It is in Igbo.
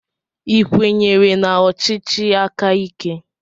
Ị kwenyere na ọchịchị aka ike?